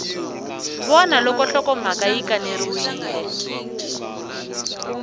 vona loko nhlokomhaka yi kaneriwile